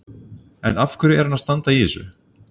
En af hverju er hann að standa í þessu?